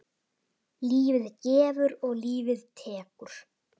Lífið gefur og lífið tekur.